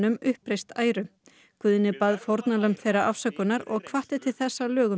Guðni bað fórnarlömb þeirra afsökunar og hvatti til þess að lögum yrði breytt